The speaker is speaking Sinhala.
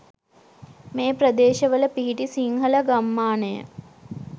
මේ ප්‍රදේශවල පිහිටි සිංහල ගම්මානය